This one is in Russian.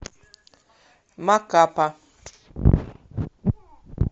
макапа